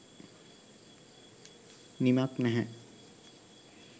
නිමක් නැහැ.